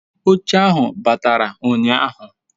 oche ahu batara unyahu